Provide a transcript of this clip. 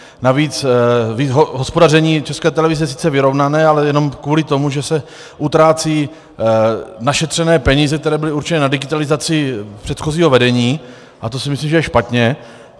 Navíc hospodaření České televize je sice vyrovnané, ale jen kvůli tomu, že se utrácí našetřené peníze, které byly určené na digitalizaci, předchozího vedení, a to si myslím, že je špatně.